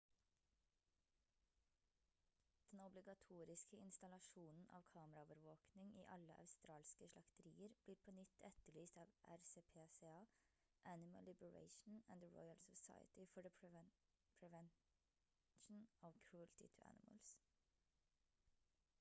den obligatoriske installasjonen av kameraovervåkning i alle australske slakterier blir på nytt etterlyst av rspca animal liberation and the royal society for the prevention of cruelty to animals